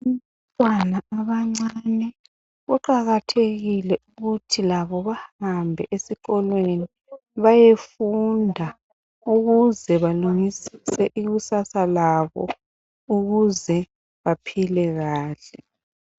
Abantwana abancane kuqakathekile ukuthi labo bahambe esikolweni bayefunda ukuze balungisise ikusasa labo ukuze baphile kahle.